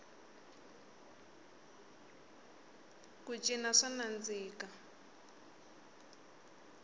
ku cina swa nandziha